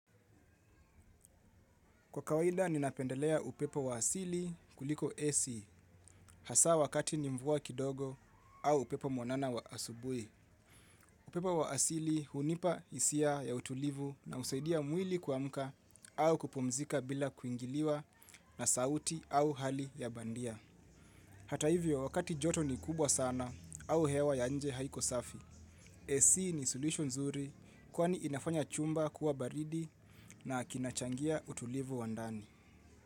Kwa kawaida ninapendelea upepo wa asili kuliko AC hasa wakati ni mvua kidogo au upepo mwanana wa asubuhi. Upepo wa asili hunipa hisia ya utulivu na husaidia mwili kuamka au kupumzika bila kuingiliwa na sauti au hali ya bandia. Hata hivyo wakati joto ni kubwa sana au hewa ya nje haiko safi. AC ni solution zuri kwani inafanya chumba kuwa baridi na kinachangia utulivu wa ndani.